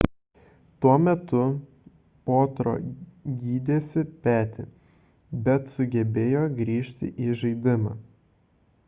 tuo metu potro gydėsi petį bet sugebėjo grįžti į žaidimą